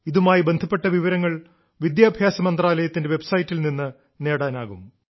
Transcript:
ഇതുമായി ബന്ധപ്പെട്ട വിവരങ്ങൾ വിദ്യാഭ്യാസ മന്ത്രാലയത്തിന്റെ വെബ്സൈറ്റിൽ നിന്ന് നേടാനാവും